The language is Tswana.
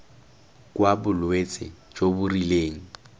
kwa bolwetse jo bo rileng